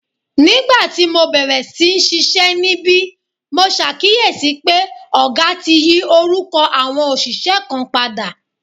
Nígbà tí mo bẹ̀rẹ̀ sí ṣiṣẹ́ níbí, mo ṣàkíyèsí pé ọ̀gá ti yí orúkọ àwọn òṣìṣẹ́ kan padà